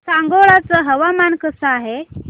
सांगोळा चं हवामान कसं आहे